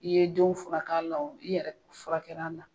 I ye denw furak'a la, i yɛrɛ fura kɛra a la